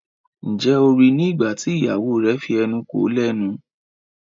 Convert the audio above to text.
Njé O rí ní nígbàtí ìyàwó rẹ fí enú kò lénu?